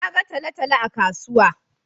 Na ga talo-talo a kasuwa.